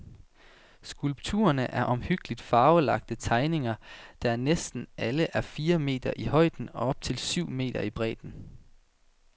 Skulpturne er omhyggeligt farvelagte tegninger, der alle er næsten fire meter i højden og op til syv meter i bredden.